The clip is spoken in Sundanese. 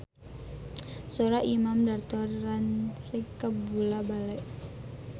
Sora Imam Darto rancage kabula-bale